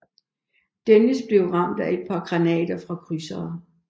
Dennis blev ramt af et par granater fra krydsere